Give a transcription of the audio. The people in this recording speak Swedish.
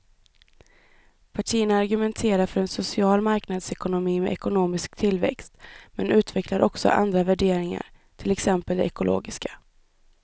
Partierna argumenterar för en social marknadsekonomi med ekonomisk tillväxt men utvecklar också andra värderingar, till exempel de ekologiska.